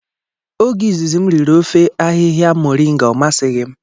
Oge izizi m riri ofe ahịhịa moringa ọ masighi m.